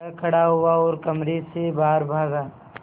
वह खड़ा हुआ और कमरे से बाहर भागा